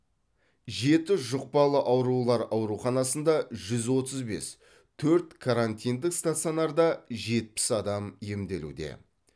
жеті жұқпалы аурулар ауруханасында жүз отыз бес төрт карантиндік стационарда жетпіс адам емделуде